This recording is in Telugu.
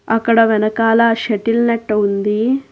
అక్కడ వెనకాల షటిల్ నట్టు ఉంది.